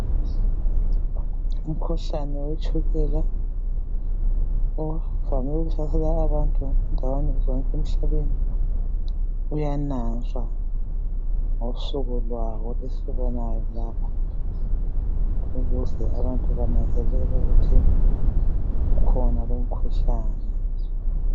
Umkhuhlane wetshukela ovame ukuhlasela abantu endaweni zonke emhlabeni uyananzwa ngosuku lwawo esilubonayo lapha ukuze abantu bananzelele ukuthi ukhona lowumkhuhlane.